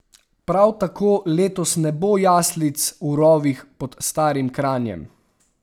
Prav tako letos ne bo jaslic v rovih pod starim Kranjem.